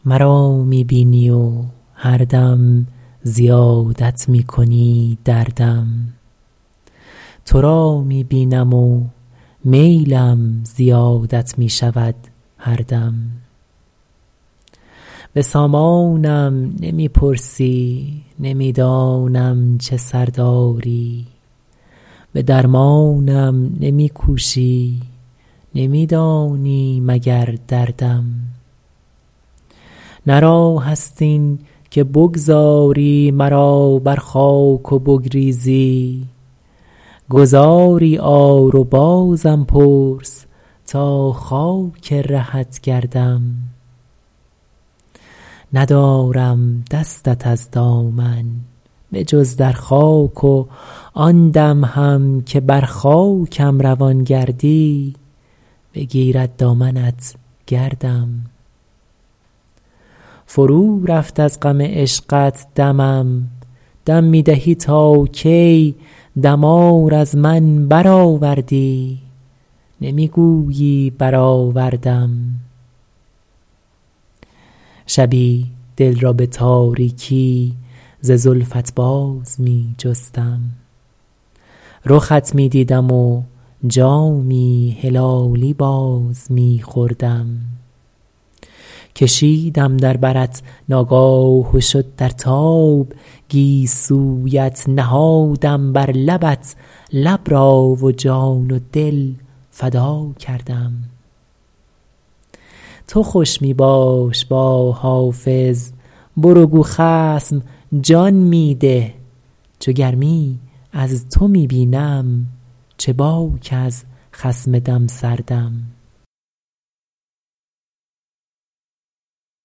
مرا می بینی و هر دم زیادت می کنی دردم تو را می بینم و میلم زیادت می شود هر دم به سامانم نمی پرسی نمی دانم چه سر داری به درمانم نمی کوشی نمی دانی مگر دردم نه راه است این که بگذاری مرا بر خاک و بگریزی گذاری آر و بازم پرس تا خاک رهت گردم ندارم دستت از دامن به جز در خاک و آن دم هم که بر خاکم روان گردی بگیرد دامنت گردم فرو رفت از غم عشقت دمم دم می دهی تا کی دمار از من برآوردی نمی گویی برآوردم شبی دل را به تاریکی ز زلفت باز می جستم رخت می دیدم و جامی هلالی باز می خوردم کشیدم در برت ناگاه و شد در تاب گیسویت نهادم بر لبت لب را و جان و دل فدا کردم تو خوش می باش با حافظ برو گو خصم جان می ده چو گرمی از تو می بینم چه باک از خصم دم سردم